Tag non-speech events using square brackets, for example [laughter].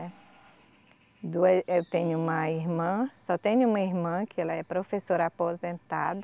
[unintelligible] Eu tenho uma irmã, só tenho uma irmã que ela é professora aposentada,